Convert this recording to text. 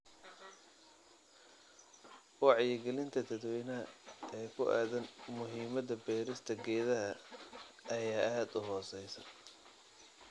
Wacyigelinta dadweynaha ee ku aaddan muhiimadda beerista geedaha ayaa aad u hooseysa.